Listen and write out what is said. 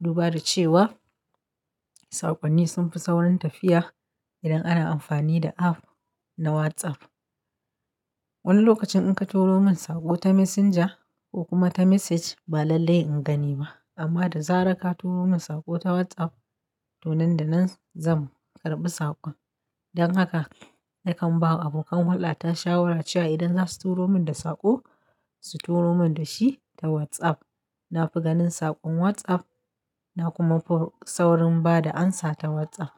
Duba da cewa saƙonni sun fi saurin tafiya, idan ana amfani da app na WhatsApp. Wani lokacin in ka turo min saƙo ta Messenger, ko kuma ta Message, ba lallai in gani ba. Amma da zarar ka turo min saƙo ta WhatsApp, to nan da nan zan karɓi saƙon. Don haka, na kan bawa abokan hulɗa shawara cewa idan za su turo min saƙo, su turo min da shi ta WhatsApp. Na fi ganin saƙon WhatsApp, na kuma fi saurin ba da amsa ta WhatsApp.